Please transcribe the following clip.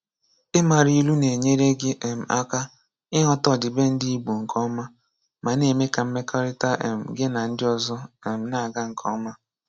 Ịmara ilu na-enyere gị um aka ịghọta ọdịbendị Igbo nke ọma ma na-eme ka mmekọrịta um gị na ndị ọzọ um na-aga nke ọma.